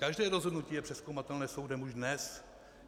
Každé rozhodnutí je přezkoumatelné soudem už dnes.